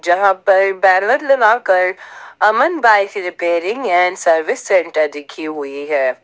यहां पर बैनर लगाकर Aman bike repairing and service centre लिखी हुई है।